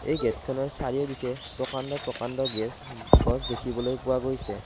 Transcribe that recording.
এই গেটখনৰ চাৰিওদিশে প্ৰকাণ্ড প্ৰকাণ্ড গেছ গছ দেখিবলৈ পোৱা গৈছে।